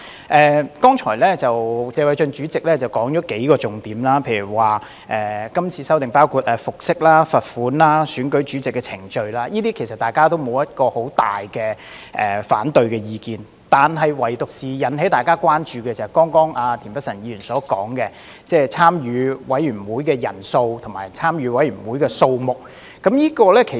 議事規則委員會主席謝偉俊議員剛才說出了數個重點，例如今次的修訂包括服飾、罰款、選舉主席的程序，大家對這些也沒有很大的反對意見，唯獨引起大家關注的，就是田北辰議員剛才所說的，即是委員會的委員人數上限和議員可參與的委員會數目。